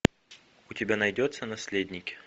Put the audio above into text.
у тебя найдется наследники